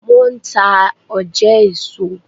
Wọn n ta òjé èso